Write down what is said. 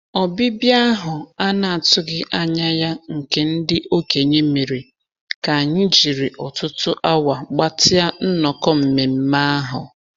Ọbịbịa ahụ a na-atụghị anya ya nke ndị okenye mere ka anyị jiri ọtụtụ awa gbatịa nnọkọ nmenme ahụ.